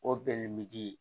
O bɛn bi di